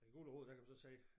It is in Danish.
Og i Guld & Rod der kan du så sige